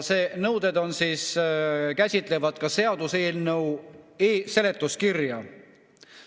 Need nõuded käsitlevad ka seaduseelnõu seletuskirja.